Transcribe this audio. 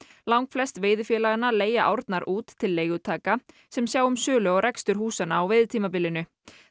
langflest veiðifélaganna leigja árnar út til leigutaka sem sjá um sölu og rekstur húsanna á veiðitímabilinu